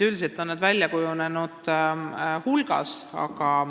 Üldiselt on nende hulk välja kujunenud.